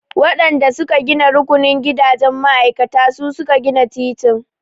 Waɗan da su ka gina rukunin gidajen ma'aikata su suka gina titin.